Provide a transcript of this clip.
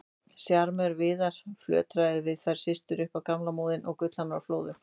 Sjarmörinn Viðar, flörtaði við þær systur upp á gamla móðinn og gullhamrarnir flóðu.